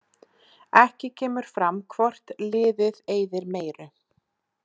Ekki kemur fram hvort liðið eyðir meiru.